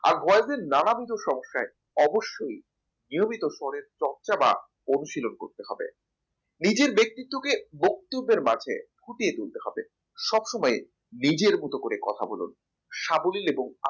আর Voice এ নানাবিধ সমস্যা অবশ্যই নিয়মিত শরের চর্চা বা অনুশীলন করতে হবে নিজের ব্যক্তিত্বকে বক্তব্যের মাঝে ফুটিয়ে তুলতে হবে সব সময় নিজের মতন করে কথা বলুন সাবলীল এবং